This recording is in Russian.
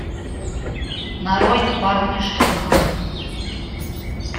нарой парни что надо